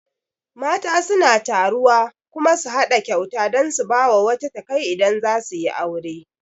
Mata suna taruwa kuma su haɗa kyauta dan su bawa wata takai idan zasu yi aure